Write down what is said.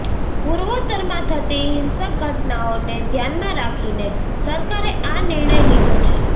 પૂર્વોત્તરમાં થતી હિંસક ઘટનાઓને ધ્યાનમાં રાખીને સરકારે આ નિર્ણય લીધો છે